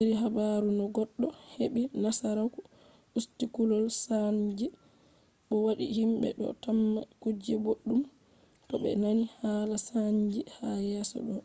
iri habaru no goɗɗo heɓɓi nasaraku usti kulol saanji bo wadi himɓe do tamma kuje boɗɗum to be nani hala saanji ha yeeso ɗo